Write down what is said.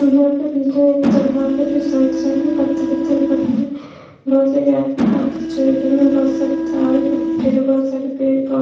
यहाँ पे बीच में एक तालाब है जो साइड साइड में पत्थर-वत्थर पड़े हुए है बहुत से गाय भैंस सब चर रही है बहुत सारे तारे कनेक्टेड है बहुत सारे पेड़-पो --